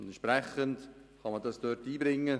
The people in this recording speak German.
Entsprechend kann man das dort einbringen.